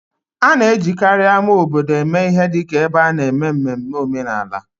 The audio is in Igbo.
A na-ejikarị ama obodo eme ihe dị ka ebe a na-eme mmemme omenala